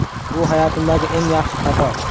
Bu hayotimdagi eng yaxshi xato!